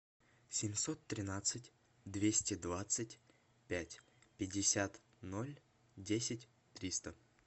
семьсот тринадцать двести двадцать пять пятьдесят ноль десять триста